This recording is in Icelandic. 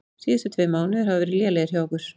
Síðustu tveir mánuðir hafa verið lélegir hjá okkur.